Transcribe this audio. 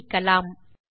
என அமைக்கலாம்